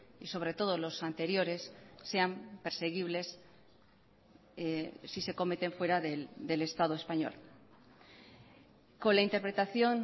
y sobre todo los anteriores sean perseguibles si se cometen fuera del estado español con la interpretación